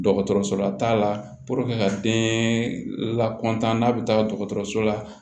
Dɔgɔtɔrɔso la t'a la ka den lakɔntan n'a be taga dɔgɔtɔrɔso la